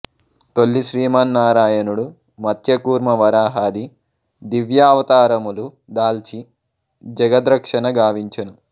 తొల్లి శ్రీమన్నారాయణుడు మత్య కూర్మ వరహాది దివ్యావతారములు దాల్చి జగద్రక్షణ గావించెను